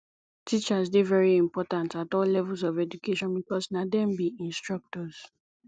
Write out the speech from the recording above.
teachers dey very important at all levels of education because na dem be instructors